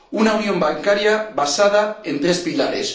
Una unión bancaria basada en tres pilares.